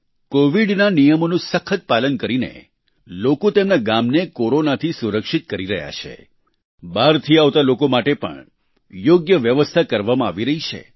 કોવિડના નિયમોનું સખત પાલન કરીને લોકો તેમના ગામને કોરોનાથી સુરક્ષિત કરી રહ્યાં છે બહારથી આવતા લોકો માટે પણ યોગ્ય વ્યવસ્થા કરવામાં આવી રહી છે